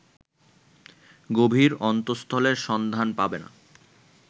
গভীর অন্তস্তলের সন্ধান পাবে না